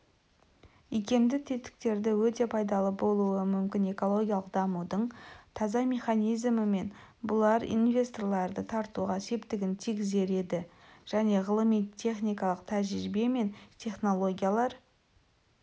икемді тетіктері өте пайдалы болуы мүмкін экологиялық дамудың таза механизмі мен бұлар инвесторларды тартуға септігін тигізер еді және ғылыми техникалық тәжірибе мен технологиялар